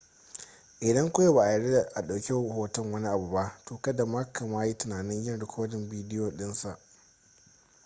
idan kawai ba a yarda a ɗauki hoton wani abu ba to kada ma ka ma yi tunanin yin rikodin bidiyo ɗinsa